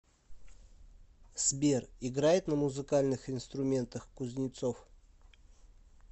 сбер играет на музыкальных инструментах кузнецов